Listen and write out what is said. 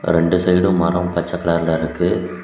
ரெண்டு சைடும் மரம் பச்ச கலர்ல இருக்கு.